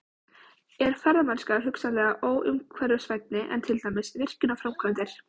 Er ferðamennska hugsanlega óumhverfisvænni en til dæmis virkjunarframkvæmdir?